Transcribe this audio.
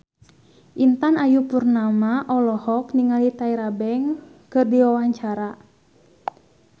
Intan Ayu Purnama olohok ningali Tyra Banks keur diwawancara